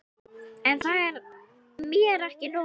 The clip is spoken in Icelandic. En það er mér ekki nóg.